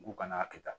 U kana a kɛ tan